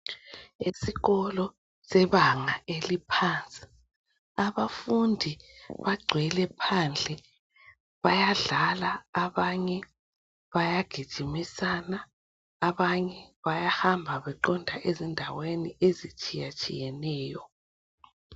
Isikolo sebanga eliphansi. Abafundi bagcwele phandle bayadlala, abanye bayagijimisana abanye bayahamba beqonda endaweni ezitshiyatshiyeneyo.